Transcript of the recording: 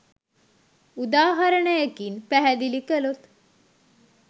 උදාහරණයකින් පැහැදිලි කළොත්.